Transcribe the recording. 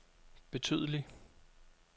betydelig